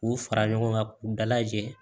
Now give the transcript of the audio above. K'u fara ɲɔgɔn kan k'u dalajɛ